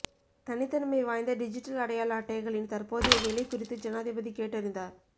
தனித்தன்மை வாய்ந்த டிஜிடல் அடையாள அட்டைகளின் தற்போதைய நிலை குறித்து ஜனாதிபதி கேட்டறிந்தார்